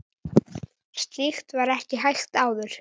Slíkt var ekki hægt áður.